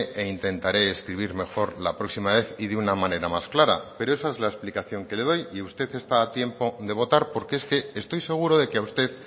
e intentaré escribir mejor la próxima vez y de una manera más clara pero esa es la explicación que le doy y usted está a tiempo de votar porque es que estoy seguro de que a usted